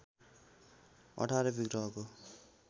१८ विग्रहको